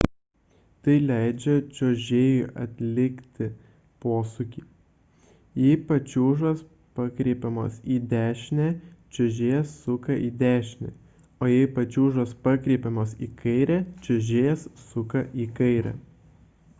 tai leidžia čiuožėjui atlikti posūkį jei pačiūžos pakreipiamos į dešinę čiuožėjas suka į dešinę o jei pačiūžos pakreipiamos į kairę čiuožėjas suka į kairę